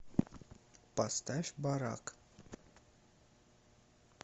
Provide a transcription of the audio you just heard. поставь барак